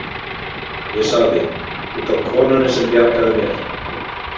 Ég sagði: út af konunni sem bjargaði mér.